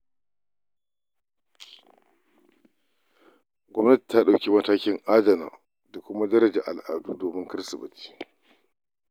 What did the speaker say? Gwamnati ta ɗauki matakin adana da daraja al'adu domin kada su ɓace.